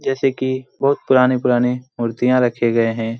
जैसे की बहुत पुराने-पुराने मूर्तियां रखे गए हैं।